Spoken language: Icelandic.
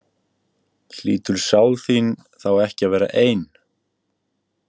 Hlýtur sál þín þá ekki að vera ein?